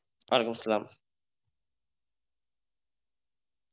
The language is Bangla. ওয়ালাইকুম আসসালাম।